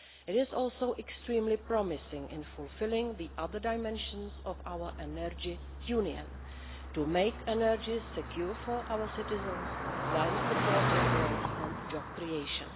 It is also extremely promising in fulfilling the other dimensions of our energy union to make energy secure for our citizens while supporting growth and job creation.